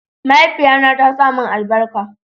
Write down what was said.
mahaifiya na ta sa mun albarka